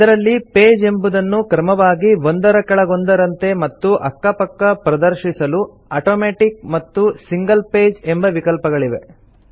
ಇದರಲ್ಲಿ ಪೇಜ್ ಎಂಬುದನ್ನು ಕ್ರಮವಾಗಿ ಒಂದರ ಕೆಳಗೊಂದರಂತೆ ಮತ್ತು ಅಕ್ಕ ಪಕ್ಕ ಪ್ರದರ್ಶಿಸಲು ಆಟೋಮ್ಯಾಟಿಕ್ ಮತ್ತು ಸಿಂಗಲ್ ಪೇಜ್ ಎಂಬ ವಿಕಲ್ಪಗಳಿವೆ